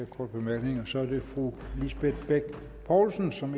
korte bemærkninger så er det fru lisbeth bech poulsen som